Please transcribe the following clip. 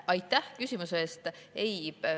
Aitäh küsimuse eest!